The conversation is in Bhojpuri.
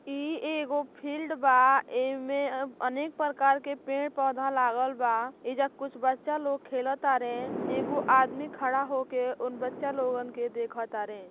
इ एगो फील्ड बा। एमे अनेक प्रकार के पेड पौधा लागल बा। एइजा कुछ बच्चा खेल तारे। एगो आदमी खड़ा होके उन बच्चा लोगन के देखतारे।